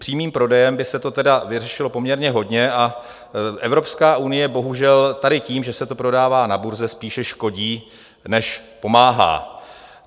Přímým prodejem by se toho tedy vyřešilo poměrně hodně a Evropská unie bohužel tady tím, že se to prodává na burze, spíše škodí než pomáhá.